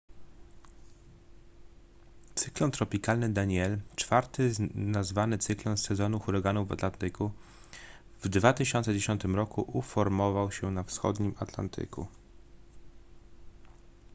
cyklon tropikalny danielle czwarty nazwany cyklon z sezonu huraganów na atlantyku w 2010 roku uformował się na wschodnim atlantyku